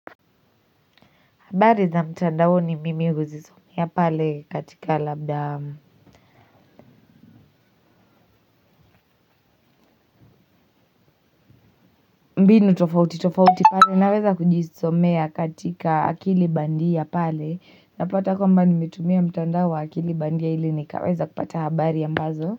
Habari za mtandaoni mimi huzisomea pale katika labda mbinu tofauti tofauti pale naweza kujisomea katika akili bandia pale napata kwamba nimetumia mtandao wa akili bandia ili nikaweza kupata habari ambazo.